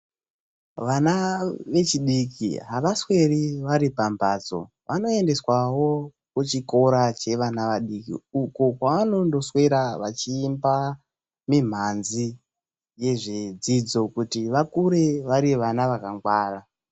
Vana vechidiki avasweri varipambatso. Vanoendeswavo kuchikora chevana vadiki uko kwavanonoswera vachiimba mimhanzi yezvidzidzo kuti vakure vari vana vakangwara.